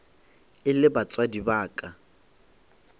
e le batswadi ba ka